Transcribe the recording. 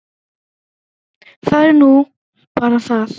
Það er nú bara það.